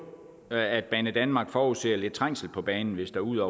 at banedanmark forudser lidt trængsel på banen hvis der ud